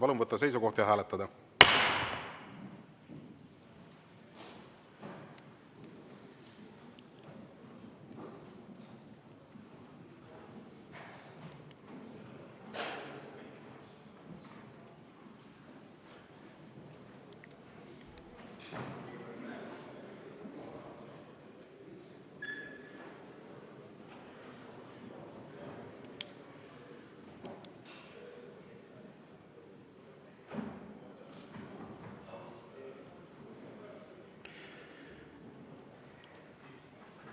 Palun võtta seisukoht ja hääletada!